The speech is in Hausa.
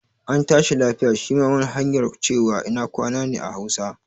An tashi lafiya' shi ma wani hanyar cewa ina kwana ne a hausa